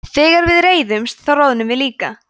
þegar við reiðumst þá roðnum við líka